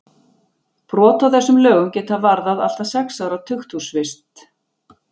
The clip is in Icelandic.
Brot á þessum lögum geta varðað allt að sex ára tukthúsvist.